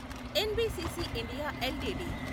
NBCC India LTD